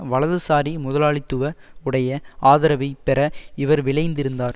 வலதுசாரி முதலாளித்துவ உடைய ஆதரவை பெற இவர் விழைந்திருந்தார்